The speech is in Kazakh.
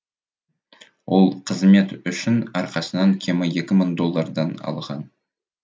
ол қызмет үшін әрқайсынан кемі екі мың доллардан алған